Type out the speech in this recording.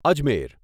Ajmer